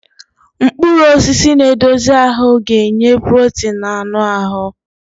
Mkpụrụ osisi na-edozi ahụ ga-enye protein na anụ ahụ.